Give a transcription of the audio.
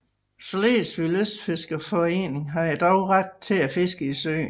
Slesvigs lystfiskerforening har dog ret til at fiske i søen